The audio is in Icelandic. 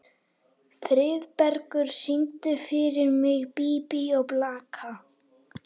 Friðbergur, syngdu fyrir mig „Bí bí og blaka“.